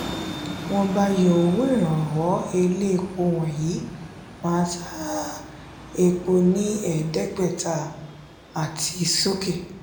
wọn bá yọ owó iranwó ilé epo wọ̀nyí má tá epo ní edegbeta àti sókè.